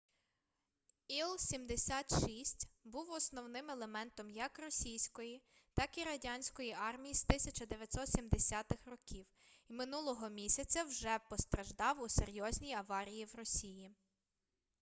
іл-76 був основним елементом як російської так і радянської армій з 1970-х років і минулого місяця вже постраждав у серйозній аварії в росії